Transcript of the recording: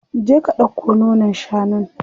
Je ka ɗauko nonon shanun.